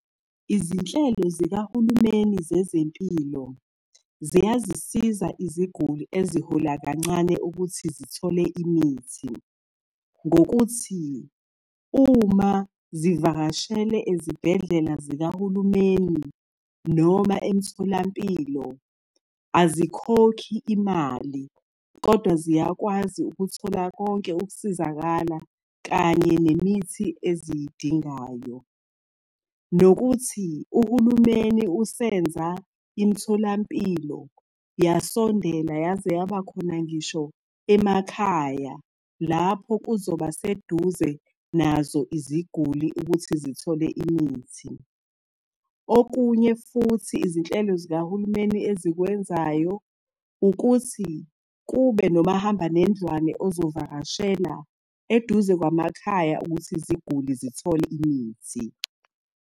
Izinhlelo zikahulumeni zezempilo ziyazizisiza iziguli ezihola kancane ukuthi zithole imithi ngokuthi uma zivakashele ezibhedlela zikahulumeni noma emtholampilo, azikhokhi imali, kodwa ziyakwazi ukuthola konke ukusizakala kanye nemithi eziyidingayo. Nokuthi uhulumeni usenza imitholampilo yasondela yaze yaba khona ngisho emakhaya lapho kuzoba seduze nazo iziguli ukuthi zithole imithi. Okunye futhi izinhlelo zikahulumeni ezikwenzayo, ukuthi kube nomahamba nendlwane ozovakashela eduze kwamakhaya ukuthi izigule zithole imithi.